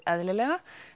eðlilega